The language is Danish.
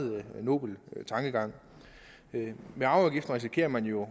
nobel tankegang med arveafgiften risikerer man jo at